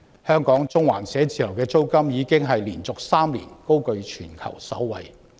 香港中環寫字樓的租金已連續3年高踞全球首位。